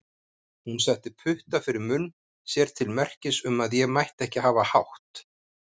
Hún setti putta fyrir munn sér til merkis um að ég mætti ekki hafa hátt.